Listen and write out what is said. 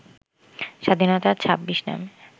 স্বাধীনতা ২৬ নামে